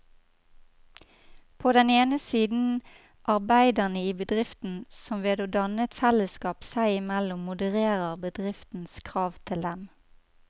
På den ene side arbeiderne i bedriften, som ved å danne et fellesskap seg imellom modererer bedriftens krav til dem.